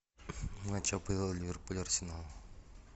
матч апл ливерпуль арсенал